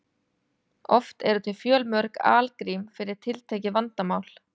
Oft eru til fjölmörg algrím fyrir tiltekið vandamál.